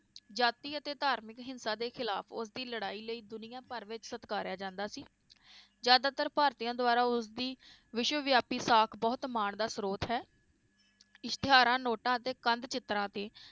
ਜਾਤੀ ਅਤੇ ਧਾਰਮਿਕ ਹਿੰਸਾ ਦੇ ਖਿਲਾਫ ਉਸ ਦੀ ਲੜਾਈ ਲਈ ਦੁਨੀਆਂ ਭਰ ਵਿਚ ਸਤਕਾਰਿਆ ਜਾਂਦਾ ਸੀ ਜ਼ਿਆਦਾਤਰ ਭਾਰਤੀਆਂ ਦਵਾਰਾ ਉਸ ਦੀ ਵਿਸ਼ਵ ਵਿਆਪੀ ਸਾਕ ਬਹੁਤ ਮਾਨ ਦਾ ਸਰੋਤ ਹੈ ਇਸ਼ਤਿਹਾਰਾਂ, ਨੋਟਾਂ ਅਤੇ ਕੰਧ ਚਿਤ੍ਰਾਂ ਤੇ